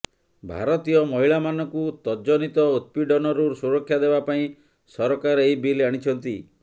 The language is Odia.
ଭାରତୀୟ ମହିଳାମାନଙ୍କୁ ତଜ୍ଜନିତ ଉତ୍ପୀଡ଼ନରୁ ସୁରକ୍ଷା ଦେବା ପାଇଁ ସରକାର ଏହି ବିଲ୍ ଆଣିଛନ୍ତି